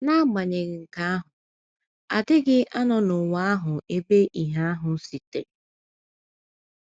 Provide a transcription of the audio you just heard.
N’agbanyeghị nke ahụ, a dịghị anọ n’ụwa ahụ ebe ìhè ahụ sitere.